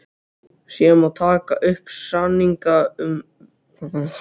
Síðan má taka upp samninga um greiðslur og verð.